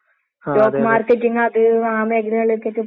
ഉം ശെരിയാണ്. ഇപ്പ പഠിച്ച്